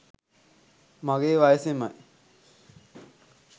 මගේ වයසෙමයි.